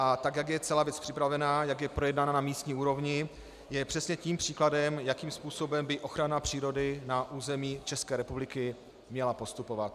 A tak, jak je celá věc připravená, jak je projednaná na místní úrovni, je přesně tím příkladem, jakým způsobem by ochrana přírody na území České republiky měla postupovat.